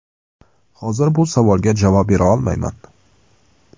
Hozir bu savolga javob bera olmayman.